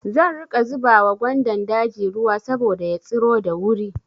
Zan riƙa zuba wa gwandan daji ruwa saboda ya tsiro da wuri.